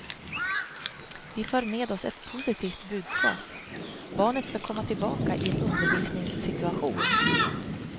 Vi för med oss ett positivt budskap, barnet skall komma tillbaka i en undervisningssituation.